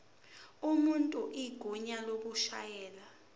umuntu igunya lokushayela